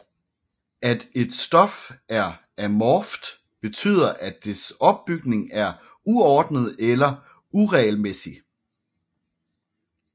At et stof er amorft betyder at dets opbygning er uordnet eller uregelmæssig